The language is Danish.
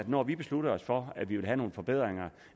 når vi beslutter os for at vi vil have nogle forbedringer